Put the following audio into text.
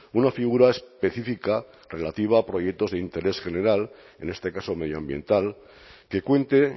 una figura específica relativa a proyectos de interés general en este caso medioambiental que cuente